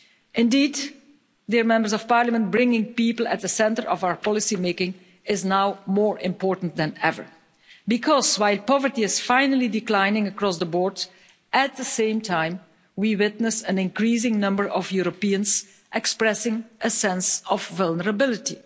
Indeed, bringing people to the centre of our policy-making is now more important than ever, because while poverty is finally declining across the board, at the same time we witness an increasing number of Europeans expressing a sense of vulnerability.